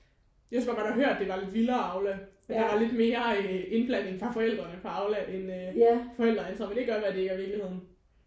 Jeg synes bare man har hørt det var lidt vildere Aula at der var lidt mere indblanding fra forældrene på Aula end øh forældreintra. Men det kan godt være det ikke er virkeligheden